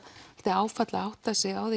áfall að átta sig á